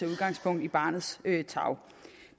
udgangspunkt i barnets tarv